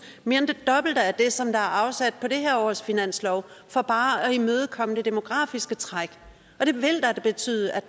mere end det dobbelte af det som der er afsat på det her års finanslov for bare at imødekomme det demografiske træk